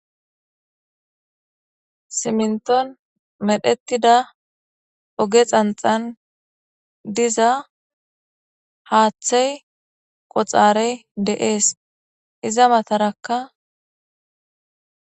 Siminton medhetida oge xanxan diza haaththey qoxarey de7ees iza matarakka.